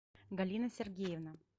галина сергеевна